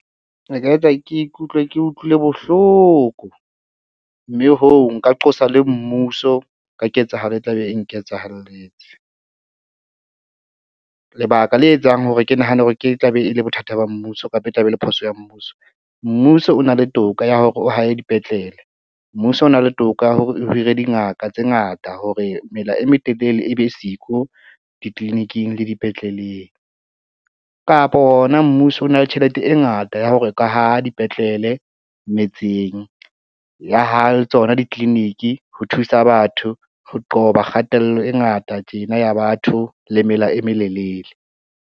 E ka etsa ke ikutlwe ke utlwile bohloko, mme hoo nka qosa le mmuso ka ketsahalo e tla be e nketsahalletseng. Lebaka le etsang hore ke nahane hore ke tla be e le bothata ba mmuso kapa e tla be e le phoso ya mmuso, mmuso o na le toka ya hore o hahe dipetlele. Mmuso o na le toka ya hore o hire dingaka tse ngata hore mela e metelele e be siko ditliliniking le dipetleleng kapa hona mmuso o na le tjhelete e ngata ya hore o ka haha dipetlele metseng ya haha le tsona ditliliniki, ho thusa batho ho qoba kgatello e ngata tjena ya batho le mela e melelele.